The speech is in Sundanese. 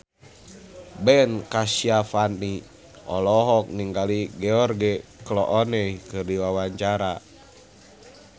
Ben Kasyafani olohok ningali George Clooney keur diwawancara